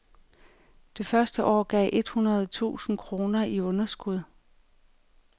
Det første år gav et hundrede tusind kroner i underskud.